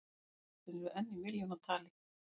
Jólakortin enn í milljónatali